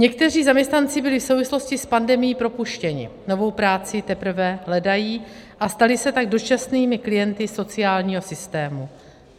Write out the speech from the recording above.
Někteří zaměstnanci byli v souvislosti s pandemií propuštěni, novou práci teprve hledají, a stali se tak dočasnými klienty sociálního systému.